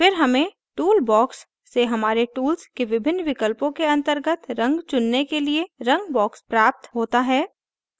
फिर हमें toolbox से हमारे tools के विभिन्न विकल्पों के अंतर्गत रंग चुनने के लिए रंग box प्राप्त होता है